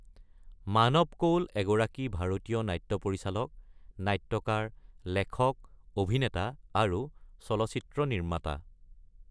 মানৱ কৌল এগৰাকী ভাৰতীয় নাট্য পৰিচালক, নাট্যকাৰ, লেখক, অভিনেতা, আৰু চলচ্চিত্ৰ নিৰ্মাতা।